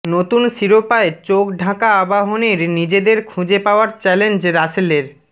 নতুন শিরোপায় চোখ ঢাকা আবাহনীর নিজেদের খুঁজে পাওয়ার চ্যালেঞ্জ রাসেলের